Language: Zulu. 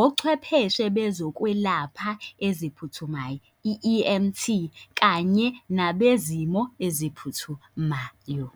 ochwepheshe bezokwelapha eziphuthumayo, i-E_M_T kanye nabezimo eziphuthumayo.